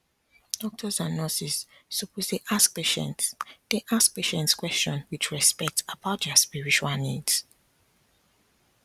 doctors and nurses suppose dey ask patients dey ask patients question with respect about their spiritual needs